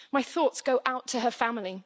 My thoughts go out to her family.